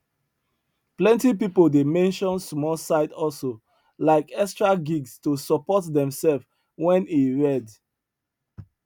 plenty people dey mention small side hustle like extra gigs to support themselves when e red